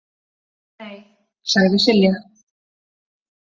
Nei, sagði Silja.